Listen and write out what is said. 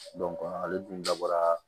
ale dun dabɔra